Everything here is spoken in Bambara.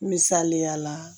Misaliya la